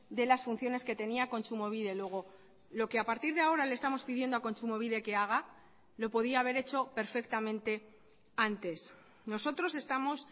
de las funciones que tenía kontsumobide luego lo que a partir de ahora le estamos pidiendo a kontsumobide que haga lo podía haber hecho perfectamente antes nosotros estamos